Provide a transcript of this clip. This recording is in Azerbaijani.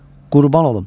Qurban olum.